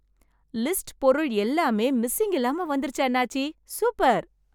List பொருள் எல்லாம் missing இல்லாம வந்துருச்சி அண்ணாச்சி. சூப்பர்!